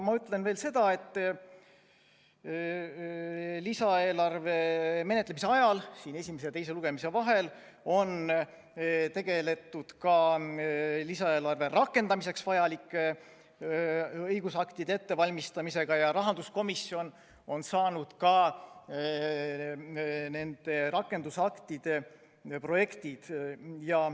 Ma ütlen veel seda, et lisaeelarve menetlemise ajal esimese ja teise lugemise vahel on tegeletud ka lisaeelarve rakendamiseks vajalike õigusaktide ettevalmistamisega ja rahanduskomisjon on saanud juba nende rakendusaktide projektid.